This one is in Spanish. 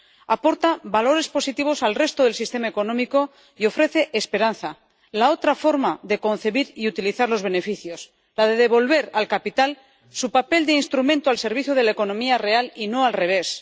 aporta valores positivos al resto del sistema económico y ofrece esperanza, la otra forma de concebir y utilizar los beneficios, la de devolver al capital su papel de instrumento al servicio de la economía real y no al revés.